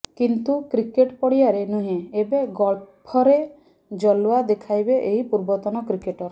କିନ୍ତୁ କ୍ରିକେଟ ପଡ଼ିଆରେ ନୁହେଁ ଏବେ ଗଲ୍ଫରେ ଜଲୱା ଦେଖାଇବେ ଏହି ପୂର୍ବତନ କ୍ରିକେଟର